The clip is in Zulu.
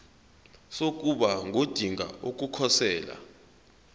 sokuba ngodinga ukukhosela